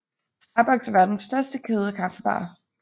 Starbucks er verdens største kæde af kaffebarer